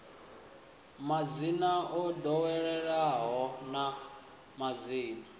madzina o ḓoweleaho na madzina